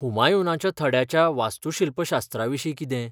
हुमायूनाच्या थड्याच्या वास्तूशिल्पशास्त्राविशीं कितें?